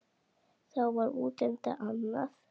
Þá var útlitið annað.